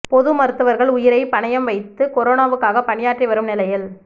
பொது மருத்துவர்கள் உயிரை பணயம் வைத்து கொரோனாவுக்காக பணியாற்றி வரும் நிலையில்